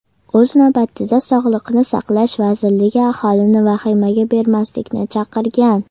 O‘z navbatida Sog‘liqni saqlash vazirligi aholini vahimaga berilmaslikni chaqirgan.